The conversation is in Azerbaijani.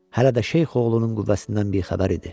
Hələ də şeyx oğlunun qüvvəsindən bixəbər idi.